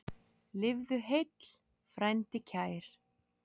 Lifðu heill, frændi kær!